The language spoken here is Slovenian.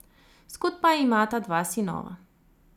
Skupaj imata dva sinova.